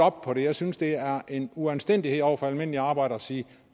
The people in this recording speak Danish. op på det jeg synes det er uanstændigt over for almindelige arbejder at sige